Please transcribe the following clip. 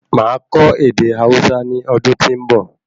Máa kọ ède Hausa ní ọdún tí nbọ